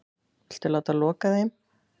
Viltu láta loka þeim?